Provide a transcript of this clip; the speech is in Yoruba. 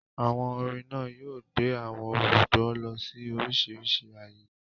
Àwọn orin náà yóò gbé àwọn olùgbọ́ lọ sí oríṣiríṣi ayé.